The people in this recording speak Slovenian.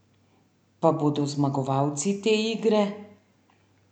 Pa bodo zmagovalci te igre?